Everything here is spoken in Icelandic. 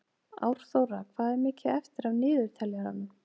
Árþóra, hvað er mikið eftir af niðurteljaranum?